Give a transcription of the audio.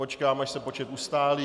Počkám, až se počet ustálí.